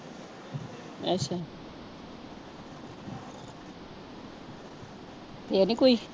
ਕੋਈ